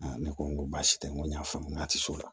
ne ko n ko baasi tɛ n ko n y'a faamu n k'a ti se o la